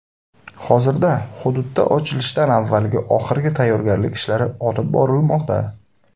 Hozirda hududda ochilishdan avvalgi oxirgi tayyorgarlik ishlari olib borilmoqda.